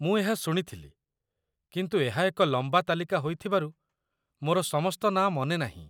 ମୁଁ ଏହା ଶୁଣିଥିଲି, କିନ୍ତୁ ଏହା ଏକ ଲମ୍ବା ତାଲିକା ହୋଇଥିବାରୁ ମୋର ସମସ୍ତ ନାଁ ମନେ ନାହିଁ।